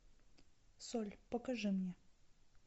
соль покажи мне